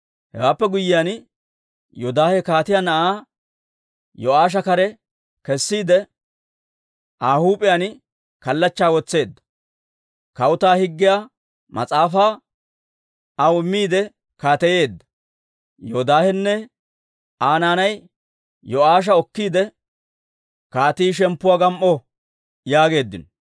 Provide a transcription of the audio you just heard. Hewaappe guyyiyaan, Yoodaahe kaatiyaa na'aa Yo'aasha kare kessiide, Aa huup'iyaan kallachchaa wotseedda; Kawutaa Higgiyaa Mas'aafaa aw immiide kaateyeedda. Yoodaahenne Aa naanay Yo'aasha okkiide, «Kaatii shemppuwaa gam"o!» yaageeddino.